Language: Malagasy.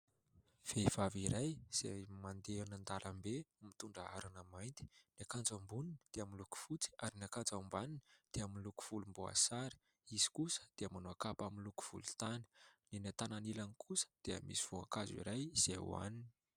Vehivavy iray izay mandeha any an-dalambe, mitondra harona mainty; ny akanjo amboniny dia miloko fotsy ary ny akanjo ambaniny dia miloko vomboasary, izy kosa dia manao kapa miloko volontany. Eny an-tanan'ilany kosa dia misy voankazo iray izay hoanina.